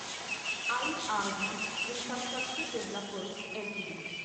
IRB Infrastructure Developers LTD